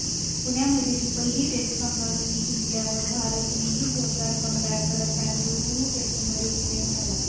पुण्यामधली पहिली टेस्ट कांगारूंनी जिंकल्यावर भारतानंही जोरदार कमबॅक करत बंगळुरू टेस्टमध्ये विजय मिळवला